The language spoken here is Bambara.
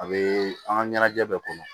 A bɛ an ka ɲɛnajɛ kɔnɔ